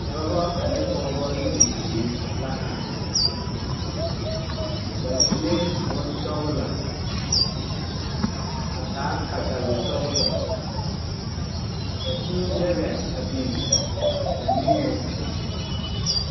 Dɔbɔ ane pɔɔbɔ ne bibiire la a are ba suee bonsɔglɔ a taa katawisɔglɔ ka kūū daga a biŋ ba niŋeŋ.